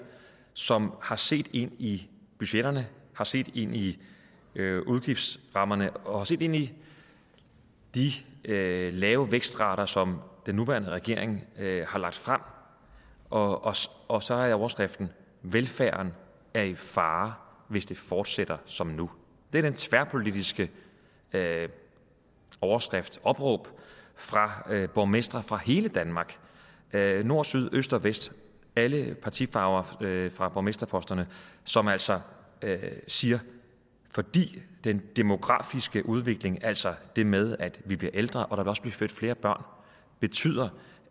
som har set ind i budgetterne har set ind i udgiftsrammerne og set ind i de lave lave vækstrater som den nuværende regering har lagt frem og og så er overskriften velfærden er i fare hvis det fortsætter som nu det er den tværpolitiske overskrift opråb fra borgmestre fra hele danmark nord syd øst og vest alle partifarver fra borgmesterposterne som altså siger at fordi den demografiske udvikling altså det med at vi bliver ældre og der vil også blive født flere børn betyder